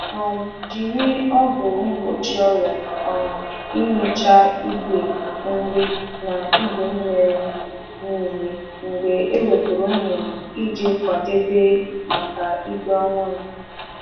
Gbasa ọgwụ mgbochi nje n’ite nri na ite mmiri mgbe a wepụchara anụ ọkụkọ ka e nwee ndokwa maka ìgwè ọhụrụ.